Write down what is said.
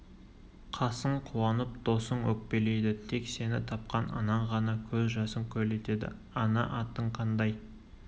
қасың қуанып досың өкпелейді тек сені тапқан анаң ғана көз жасын көл етеді ана атың қандай